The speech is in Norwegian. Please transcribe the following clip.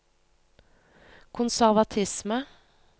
konservatisme